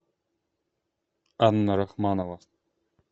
анна рахманова